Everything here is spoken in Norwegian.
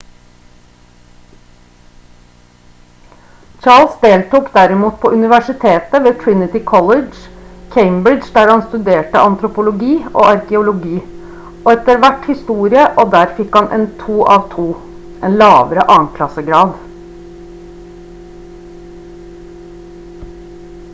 charles deltok derimot på universitetet ved trinity college cambridge der han studerte antropologi og arkeologi og etter hvert historie og der han fikk en 2:2 en lavere annenklassegrad